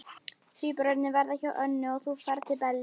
Tvíburarnir verða hjá Önnu og þú ferð til Bellu.